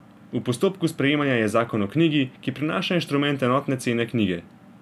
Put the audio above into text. V postopku sprejemanja je zakon o knjigi, ki prinaša instrument enotne cene knjige.